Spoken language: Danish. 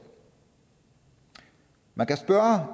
man kan spørge